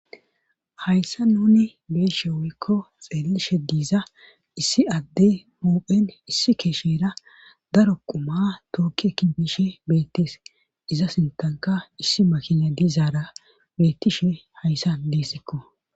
Hayssa nuni beeshe woykko xeellishe diiza issi adde muphen issi keeshera daro quma tookki kindishe beettees iza sintanka issi makina diizaara bettishe hayssa deessekko.